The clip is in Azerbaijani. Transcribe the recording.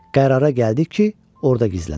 Qərara gəldik ki, orda gizlənək.